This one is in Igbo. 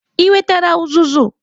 Ị wetara uzuzu?